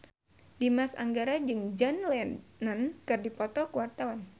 Dimas Anggara jeung John Lennon keur dipoto ku wartawan